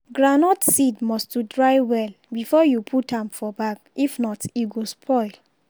groundnut seed must to dry well before you put am for bag if not e go spoil.